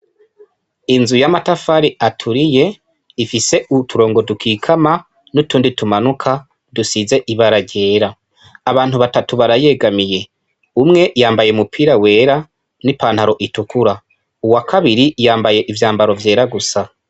Inzu y'amatafari aturiye ifise uturongo dukikama n'utundi tumanuka dusize ibara ryera, abantu batatu barayegamiye umwe yambaye umupira wera ni pantaro itukura uwa kabiri yambaye ivyambaro vyera gusa.